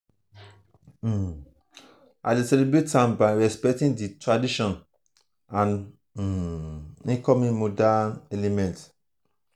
um i dey celebrate am by respecting di traditions and um incorporate modern elements. um